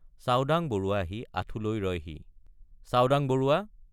চাওডাং বৰুৱা আহি আঁঠু লৈ ৰয়হি চাওডাং বৰুৱা!